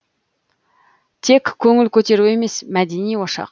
тек көңіл көтеру емес мәдени ошақ